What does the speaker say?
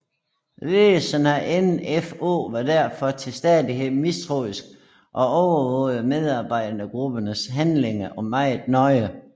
Ledelsen af NfO var derfor til staidghed mistroisk og overvågede medarbejdergruppens handlinger meget nøje